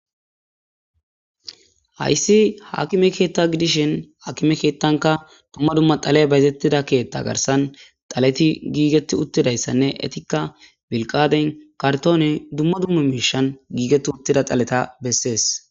Haysi hakime keeta gidishn hakime keetanka dumma dumma xaley bayzetiza keeta garsan xaleti giigeti utidaysanne etika bilgateni , kartoneni , dumma dumma mishani giigeti utida xaleta Beses.